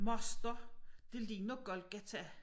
Moster det ligner Golgata